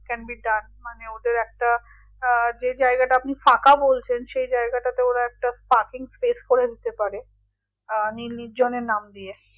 can be done মানে ওদের একটা আহ যে জায়গাটা আপনি ফাঁকা বলছেন সে জায়গাটাতে ওরা একটা parking place করে নিতে পারে আহ নীল নির্জনের নাম দিয়ে